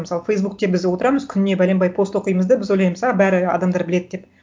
мысалы фейсбукте біз отырамыз күніне бәленбай пост оқимыз да біз ойлаймыз а бәрі адамдар біледі деп